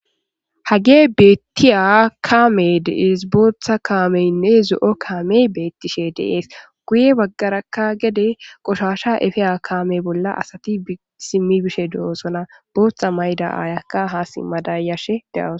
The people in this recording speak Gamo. Hage betiya kame de,ees botha kamenne zo,o kameyi betishe dee's guye bagaraka gede qoshasha efiya kame bolla asati simibishe de, osona botha mayida ayiyaka ha simada yashe deawus